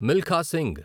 Milkha Singh